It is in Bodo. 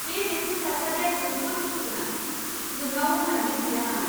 बे बेटनि थासारिआ जोबोद दुखु गोनां। नोंनाव मोजां बेट गैया नामा?